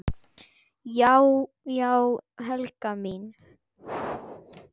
Já já, Helga mín.